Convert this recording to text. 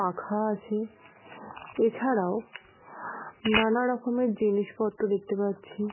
পাখা আছে এছাড়াও নানা রকমের জিনিসপত্র দেখতে পাচ্ছি।